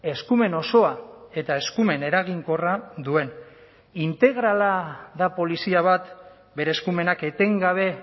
eskumen osoa eta eskumen eraginkorra duen integrala da polizia bat bere eskumenak etengabe